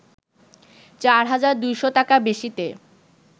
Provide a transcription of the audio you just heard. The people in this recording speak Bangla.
৪ হাজার ২০০ টাকা বেশিতে